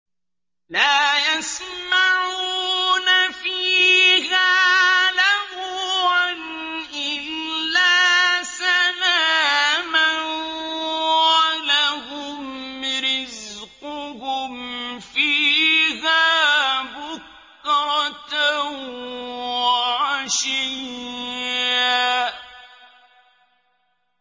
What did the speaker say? لَّا يَسْمَعُونَ فِيهَا لَغْوًا إِلَّا سَلَامًا ۖ وَلَهُمْ رِزْقُهُمْ فِيهَا بُكْرَةً وَعَشِيًّا